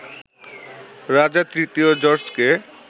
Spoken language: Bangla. রাজা তৃতীয় জর্জকে